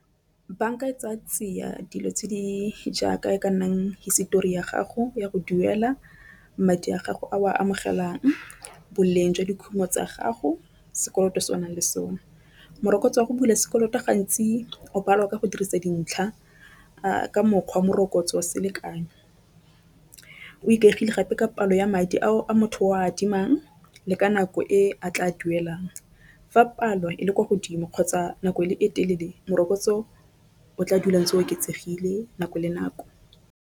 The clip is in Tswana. Banka e tsa tsia dilo tse di jaaka e ka nnang hisetori ya gago ya go duela madi a gago a o a amogelang boleng jwa dikhumo tsa gago sekoloto se o nang le sone. Morokotso wa go bula sekoloto gantsi o balwa ka go dirisa dintlha a ka mokgwa morokotso wa selekanyo o ikagile gape ka palo ya madi ao a motho o adimang, le ka nako e a tla duelang fa palo e le kwa godimo kgotsa nako e telele morokotso o tla dula ntse oketsegile nako le nako.